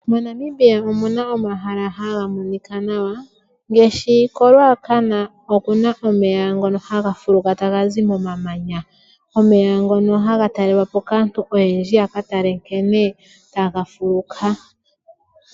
MoNamibia omuna omahala haga monika nawa ngashi koRuacana okuna egwo lyomeya, omeya ngono haga talelwapo kaantu oyendji yaka tale nkene tagafuluka.